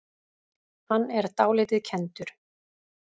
Hann er dálítið kenndur.